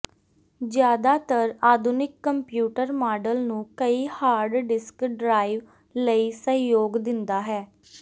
ਜ਼ਿਆਦਾਤਰ ਆਧੁਨਿਕ computer model ਨੂੰ ਕਈ ਹਾਰਡ ਡਿਸਕ ਡਰਾਇਵ ਲਈ ਸਹਿਯੋਗ ਦਿੰਦਾ ਹੈ